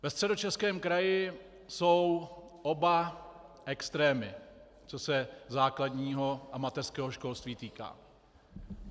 Ve Středočeském kraji jsou oba extrémy, co se základního a mateřského školství týká.